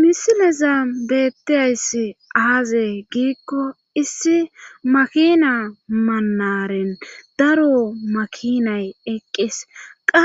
misileza bettizayssi aaze giikko issi makina manaren daro makinay eqqis qa